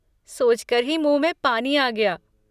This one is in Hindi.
सोच कर ही मुँह में पानी आ गया।